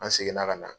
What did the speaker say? An seginna ka na